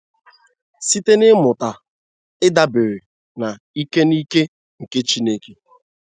Site n'ịmụta ịdabere na ike na ike nke Chineke.